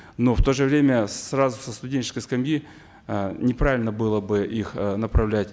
но в то же время сразу со студенческой скамьи э неправильно было бы их э направлять